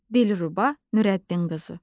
Dilruba Nürəddinqızı.